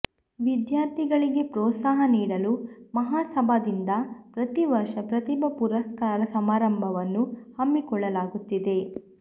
ವಿದ್ಯಾರ್ಥಿಗಳಿಗೆ ಪ್ರೋತ್ಸಾಹ ನೀಡಲು ಮಹಾಸಭಾದಿಂದ ಪ್ರತಿವರ್ಷ ಪ್ರತಿಭಾ ಪುರಸ್ಕಾರ ಸಮಾರಂಭವನ್ನು ಹಮ್ಮಿಕೊಳ್ಳಲಾಗುತ್ತಿದೆ